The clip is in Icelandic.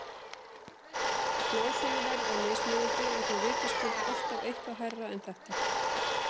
Smásöluverð er mismunandi en þó vitaskuld alltaf eitthvað hærra en þetta.